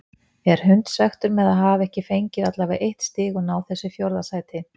Er hundsvekktur með að hafa ekki fengið allavega eitt stig og náð þessu fjórða sæti.